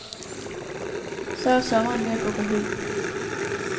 Så er sommeren ved at gå på held.